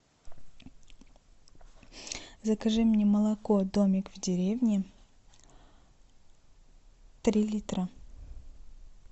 закажи мне молоко домик в деревне три литра